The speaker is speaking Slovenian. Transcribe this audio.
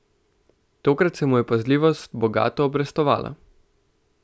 Tokrat se mu je pazljivost bogato obrestovala.